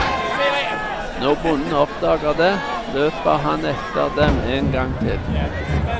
Når bonden oppdager det løper han etter dem en gang til.